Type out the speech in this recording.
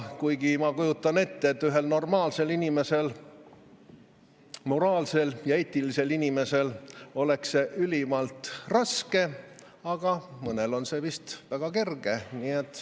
Kuigi ma kujutan ette, et ühel normaalsel, moraalsel ja eetilisel inimesel oleks see ülimalt raske, aga mõnel on see vist väga kerge.